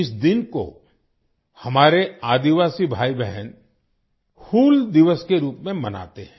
इस दिन को हमारे आदिवासी भाई बहन 'हूल दिवस' के रूप में मनाते हैं